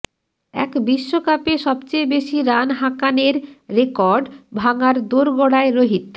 এক বিশ্বকাপে সবচেয়ে বেশি রান হাঁকানের রেকর্ড ভাঙার দোরগোড়ায় রোহিত